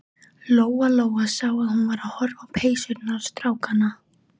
Lóa Lóa sá að hún var að horfa á peysurnar strákanna.